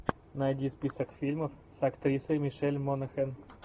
найди список фильмов с актрисой мишель монахэн